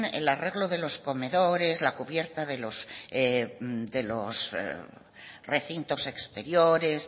el arreglo de los comedores la cubierta de los recintos exteriores